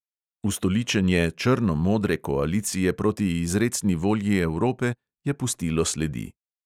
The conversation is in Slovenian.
Ustoličenje črno-modre koalicije proti izrecni volji evrope je pustilo sledi.